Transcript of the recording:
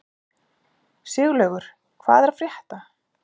Siglaugur, hvað er að frétta?